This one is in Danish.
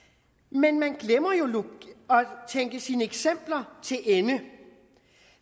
men man glemmer jo at tænke sine eksempler til ende